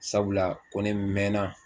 Sabula ko ne mɛnna